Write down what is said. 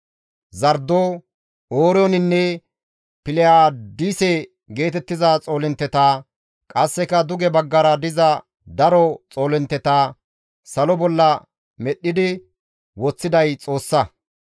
Zardo, Ooriyoninne Piliyaadise geetettiza Xoolintteta, qasseka duge baggara diza daro Xoolintteta, salo bolla medhdhi woththiday Xoossa.